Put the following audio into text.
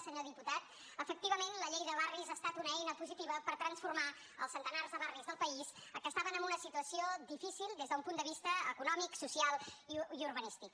senyor diputat efectivament la llei de barris ha estat una eina positiva per transformar els centenars de barris del país que estaven en una situació difícil des d’un punt de vista econòmic social i urbanístic